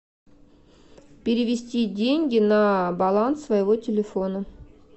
перевести деньги на баланс своего телефона